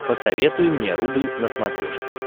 посоветуй мне рубль на смотрешке